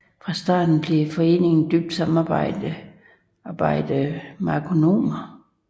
Fra starten blev foreningen døbt Samarbejdende Merkonomer